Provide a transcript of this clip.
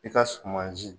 I ka sumansi